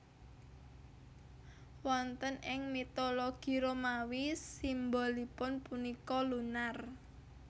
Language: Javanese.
Wonten ing mitologi Romawi simbolipun punika Lunar